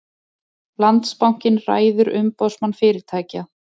Landsbankinn ræður Umboðsmann fyrirtækja